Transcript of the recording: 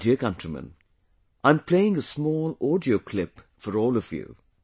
My dear countrymen, I am playing a small audio clip for all of you